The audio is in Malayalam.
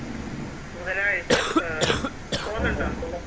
ബുധനാഴ്ച ആഹ് പോവുന്നൊണ്ടോ